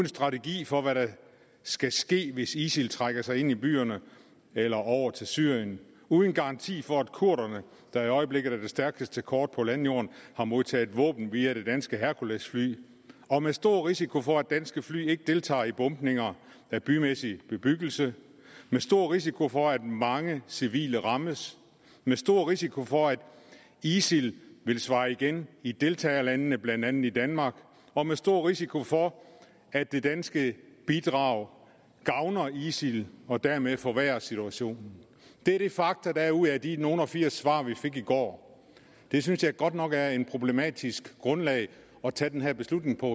strategi for hvad der skal ske hvis isil trækker sig ind i byerne eller over til syrien uden en garanti for at kurderne der i øjeblikket er det stærkeste kort på landjorden har modtaget våben via det danske herkulesfly og med stor risiko for at danske fly deltager i bombninger af bymæssig bebyggelse med stor risiko for at mange civile rammes med stor risiko for at isil vil svare igen i deltagerlandene blandt andet i danmark og med stor risiko for at det danske bidrag gavner isil og dermed forværrer situationen det er de fakta der er ud af de nogle og firs svar vi fik i går det synes jeg godt nok er et problematisk grundlag at tage den her beslutning på